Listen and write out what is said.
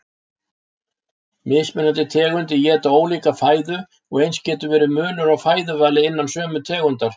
Mismunandi tegundir éta ólíka fæðu og eins getur verið munur á fæðuvali innan sömu tegundar.